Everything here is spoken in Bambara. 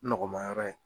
Nɔgɔmayɔrɔ ye